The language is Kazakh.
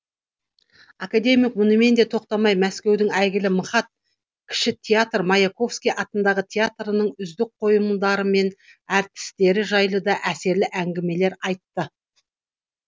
академик мұнымен де тоқтамай мәскеудің әйгілі мхат кіші театр маяковский атындағы театрының үздік қойылымдары мен әртістері жайлы да әсерлі әңгімелер айтты